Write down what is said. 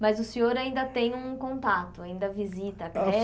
Mas o senhor ainda tem um contato, ainda visita a